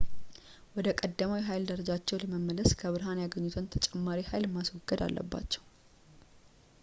ወደ ቀደመው የኃይል ደረጃቸው ለመመለስ ከብርሃን ያገኙትን ተጨማሪ ኃይል ማስወገድ አለባቸው